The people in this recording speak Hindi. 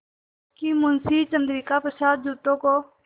कि मुंशी चंद्रिका प्रसाद जूतों को